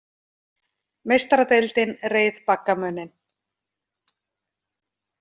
Meistaradeildin reið baggamuninn